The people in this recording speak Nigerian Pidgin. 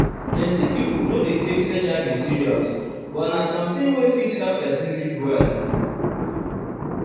plenti pipo no dey take hiv serious um but na something wey fit help um person live well.